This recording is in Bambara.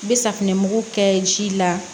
N bɛ safinɛmugu kɛ ji la